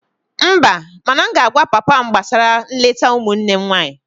Mba, mana m ga-agwa papa m gbasara nleta ụmụnne m nwanyị